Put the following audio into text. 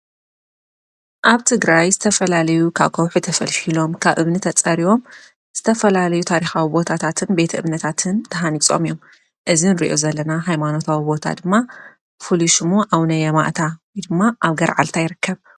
ኣብ ትግራይ ዝተፈላለዩ ካብ ከውሒ ተፈልፌሎም ካብ እምኒ ተጸሪቦም ዝተፈላለዩ ታሪኻዊ ቦታታትን ቤተ እምነታትን ተሃኒጾም እዮም እዚ ንሪኦ ዘለና ኃይማኖታዊ ቦታ ድማ ፍሉይ ሽሙ ኣውነ የማእታ ድማ ኣብ ገርዓልታ ይረከብ።